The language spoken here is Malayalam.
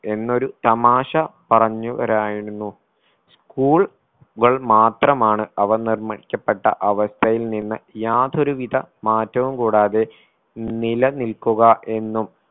എന്നൊരു തമാശ പറഞ്ഞുവരായിരുന്നു school കൾ മാത്രമാണ് അവ നിർണ്ണയിക്കപ്പെട്ട അവസ്ഥയിൽ നിന്ന് യാതൊരു വിധ മാറ്റവും കൂടാതെ നില നിൽക്കുക എന്നും